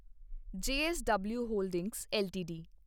JSW holdings LTD